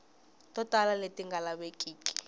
to tala leti nga lavekiki